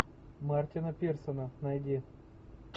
мартина пирсона найди